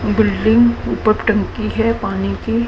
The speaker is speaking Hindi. बिल्डिंग ऊपर टंकी है पानी की।